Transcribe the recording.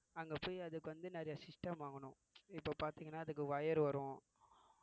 அங்க போய் அதுக்கு வந்து நிறைய system வாங்கணும் இப்ப பாத்தீங்கன்னா அதுக்கு wire வரும்